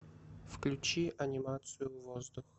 включи анимацию воздух